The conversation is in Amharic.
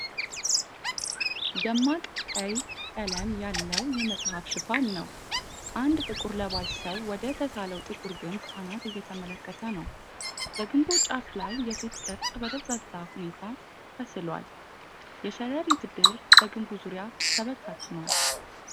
ደማቅ ቀይ ቀለም ያለው የመጽሃፍ ሽፋን ነው። አንድ ጥቁር ለባሽ ሰው ወደ ተሳለው ጥቁር ግንብ አናት እየተመለከተ ነው። በግንቡ ጫፍ ላይ የሴት ቅርጽ በደብዛዛ ሁኔታ ተስሏል፤ የሸረሪት ድር በግንቡ ዙሪያ ተበታትኗል።